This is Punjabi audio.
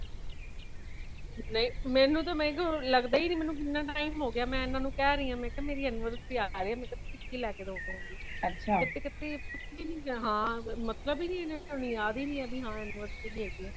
ਨਹੀਂ ਮੇਨੂ ਤੇ ਮੈ ਕਹੁ ਲੱਗਦਾ ਹੀ ਨਹੀਂ ,ਮੇਨੂ ਕਿੰਨਾ time ਹੋ ਗਿਆ ਮੈ ਐਨਾਨੁ ਕਹਿ ਰਹੀ ਆ , ਮੈ ਕਿਹਾ ਮੇਰੀ anniversary ਆ ਰਹੀ ਹੈ। ਮਤਲਬ ਕਿ ਕੀ ਲਿਆ ਕੇ ਦੋਗੇ ਤੁਸੀਂ ਕਦੀ ਹਾ ਕ਼ਦੀ ਮਤਲਬ ਹੈ ਨਹੀਂ ਹਾਯੁੱਧ ਹੀ ਨਹੀਂ ਕੇ anniversary ਹੇਗੀ।